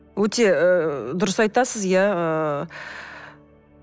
өте ыыы дұрыс айтасыз иә ыыы